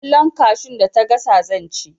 Kwallon kashun da ta gasa zan ci